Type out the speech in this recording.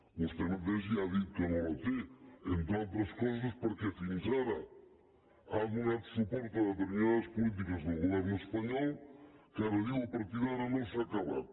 vostè mateix ja ha dit que no la té entre altres coses perquè fins ara ha donat suport a determinades polítiques del govern espanyol que ara diu a partir d’ara no s’ha acabat